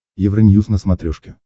евроньюз на смотрешке